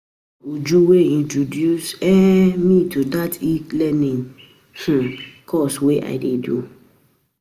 Na Uju wey introduce um me to dat e-learning um course wey I dey do